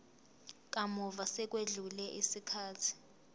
kamuva sekwedlule isikhathi